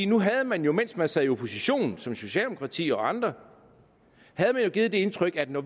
nu havde man jo mens man sad i opposition socialdemokratiet og andre givet det indtryk at når